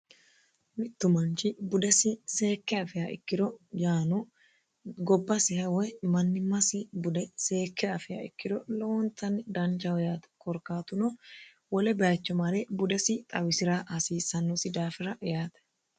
mittu manchi budesi seekke afiha ikkiro yaano gobbasiha woy mannimmasi bude seekke afia ikkiro lowontanni danchaho yate korkaatuno wole bayicho mare budesi xawisi'ra hasiissannosi daafira yaate